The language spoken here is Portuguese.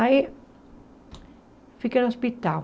Aí, fiquei no hospital.